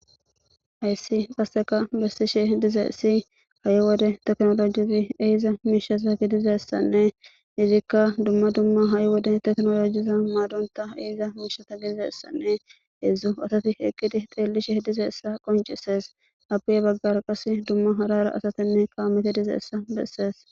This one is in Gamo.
Haysi qaseka besishe dizaysi ha'i wode tekinolojezi ehiza mishaza gidizaysanne izika duma duma ha'i wode tekinolojezan madonta ehiza mishata gidizaysanne hedzu asati eqidi dhelishe dizaysa qonc'ses ape ya bagara qase duma hara hara asatine kameti dizaysa beses.